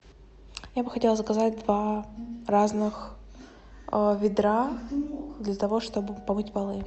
я бы хотела заказать два разных ведра для того чтобы помыть полы